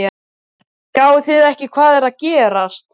Sjáið þið ekki hvað er að gerast!